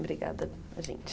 Obrigada a gente.